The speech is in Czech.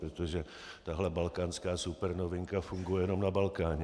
Protože tahle balkánská supernovinka funguje jenom na Balkáně.